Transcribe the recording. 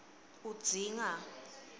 udzinga